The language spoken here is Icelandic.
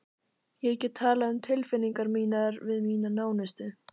Ég get talað um tilfinningar mínar við mína nánustu.